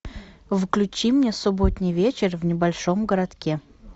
включи мне субботний вечер в небольшом городке